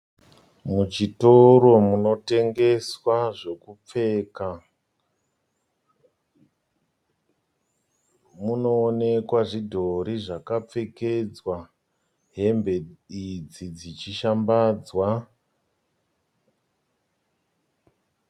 Muchitoro munotengeswa zvokupfeka. Munoonekwa zvidhori zvakapfekedzwa hembe idzi dzichishambadzwa.